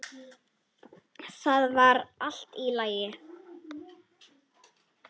Það var allt í lagi.